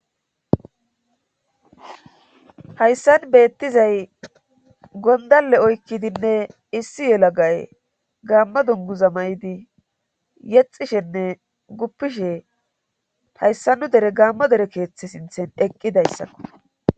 hayssan beettizay gondalle oykkidinne issi yelagay gaamma dunguza may7idi yexishenne guppishe hayssa nu dere gaammo dere keeththe sinthen eqqidayssakko